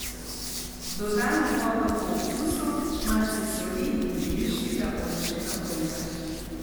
Dodamo vodo po okusu, malce soli in deviškega oljčnega olja.